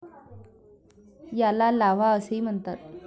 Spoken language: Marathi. याला लाव्हा असेही म्हणतात.